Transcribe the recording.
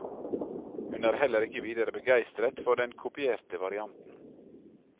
Hun er heller ikke videre begeistret for den kopierte varianten.